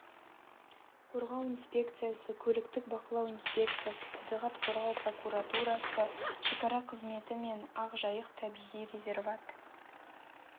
қорғау инспекциясы көліктік бақылау инспекциясы табиғат қорғау прокуратурасы шекара қызметі мен ақ жайық табиғи резерват